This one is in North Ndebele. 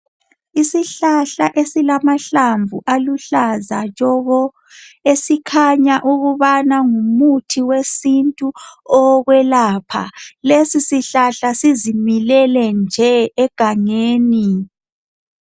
Isihlahla esilamahlamvu aluhlaza tshoko esikhanya ukubana ngumuthi wesintu owokwelapha, lesisihlahla sizimilele nje egangeni.